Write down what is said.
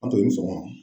An to ni sɔgɔma